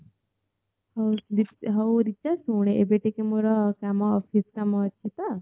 ହୋଉ ହୋଉ ରିଚା ସୁଣେ ଏବେ ଟିକିଏ ମୋର କାମ office କାମ ଅଛି ତ